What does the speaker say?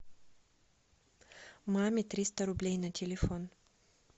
маме триста рублей на телефон